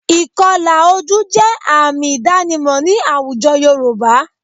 Ìkọlà ojú jẹ́ àmì ìdánimọ̀ ní àwùjọ Yorùbá